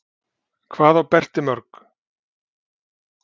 Hvað á Berti mörg?